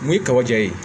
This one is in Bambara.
Mun ye kaba ja ye